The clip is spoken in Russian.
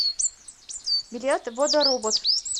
билет водоробот